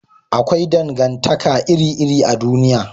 Akwai dangantaka iri iri a duniya